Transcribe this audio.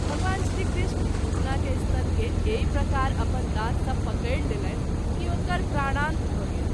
भगवान श्री कृष्ण पुतना के स्तन के एहि प्रकार अपन दाँत सँ पकरि लेलनि कि ओकर प्राणांत भ’ गेल।